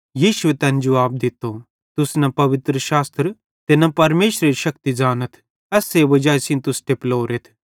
यीशुए तैन जुवाब दित्तो तुस न पवित्रशास्त्र ते न परमेशरेरी शक्ति ज़ानथ ते एस्से वजाई सेइं तुस टेपलोरेथ